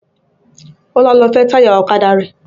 Ọlá lọ fẹ́ táyà ọ̀kadà rẹ̀